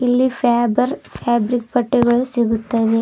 ಇಲ್ಲಿ Faber fabric ಬಟ್ಟೆಗಳು ಸಿಗುತ್ತವೆ.